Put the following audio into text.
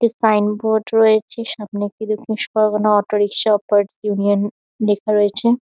একটি sign board রয়েছে। সামনের দিকে খুশ পরগনা অটো রিক্সা অপারেট ইউনিয়ন লেখা রয়েছে।